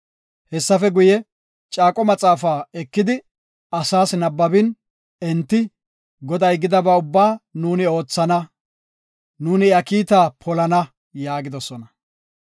Hessafe guye, Caaqo Maxaafa ekidi, asaas nabbabin, enti, “Goday gidaba ubbaa nuuni oothana; nuuni iya kiita polana” yaagidosona.